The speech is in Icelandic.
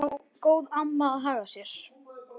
En hvernig á góð amma að haga sér?